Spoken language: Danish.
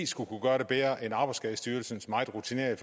skulle gøre det bedre end arbejdsskadestyrelsens meget rutinerede